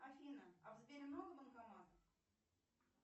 афина а в сбере много банкоматов